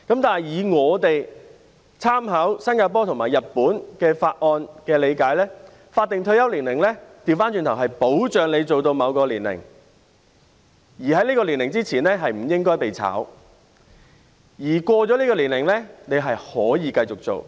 但是，我們在參考新加坡和日本的法例後的理解是，剛好相反，法定退休年齡是保障你可工作到某個年齡，在這個年齡之前，不應被解僱，而超過這個年齡也可以繼續工作。